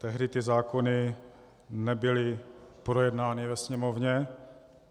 Tehdy ty zákony nebyly projednány ve Sněmovně.